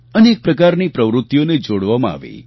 અનેક પ્રકારની પ્રવૃત્તિઓને જોડવામાં આવી